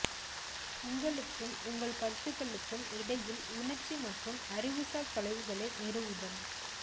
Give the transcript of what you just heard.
உங்களுக்கும் உங்கள் கருத்துகளுக்கும் இடையில் உணர்ச்சி மற்றும் அறிவுசார் தொலைவுகளை நிறுவுதல்